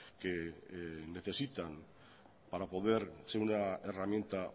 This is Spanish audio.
que necesitan para poder ser una herramienta